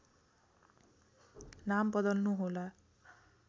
नाम बदल्नु होला